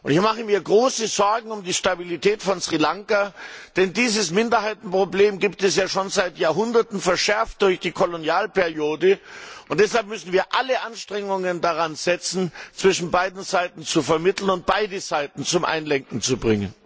Ich mache mir große Sorgen um die Stabilität von Sri Lanka, denn dieses Minderheitenproblem gibt es schon seit Jahrhunderten, verschärft durch die Kolonialperiode, und deshalb müssen wir alles daran setzen, zwischen beiden Seiten zu vermitteln und beide Seiten zum Einlenken zu bringen.